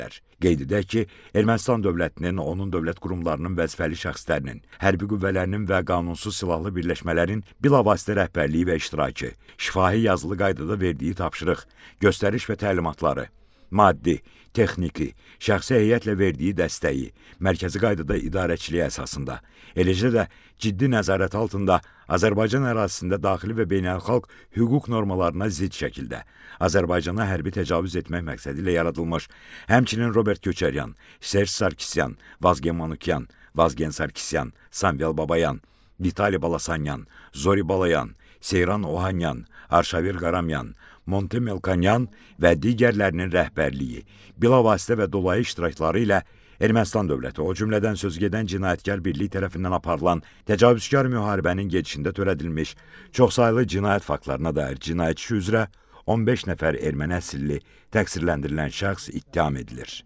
Qeyd edək ki, Ermənistan dövlətinin, onun dövlət qurumlarının, vəzifəli şəxslərinin, hərbi qüvvələrinin və qanunsuz silahlı birləşmələrin bilavasitə rəhbərliyi və iştirakı, şifahi-yazılı qaydada verdiyi tapşırıq, göstəriş və təlimatları, maddi, texniki, şəxsi heyətlə verdiyi dəstəyi, mərkəzi qaydada idarəçiliyi əsasında, eləcə də ciddi nəzarət altında Azərbaycan ərazisində daxili və beynəlxalq hüquq normalarına zidd şəkildə Azərbaycana hərbi təcavüz etmək məqsədilə yaradılmış, həmçinin Robert Köçəryan, Serj Sarkisyan, Vazgen Manukyan, Vazgen Sarkisyan, Samvel Babayan, Vitali Balasanyan, Zori Balayan, Seyran Ohanyan, Arşavir Qaramyan, Monte Melkonyan və digərlərinin rəhbərliyi, bilavasitə və dolayı iştirakları ilə Ermənistan dövləti, o cümlədən sözügedən cinayətkar birlik tərəfindən aparılan təcavüzkar müharibənin gedişində törədilmiş çoxsaylı cinayət faktlarına dair cinayət işi üzrə 15 nəfər erməni əsilli təqsirləndirilən şəxs ittiham edilir.